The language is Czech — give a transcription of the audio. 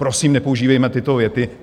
Prosím, nepoužívejme tyto věty.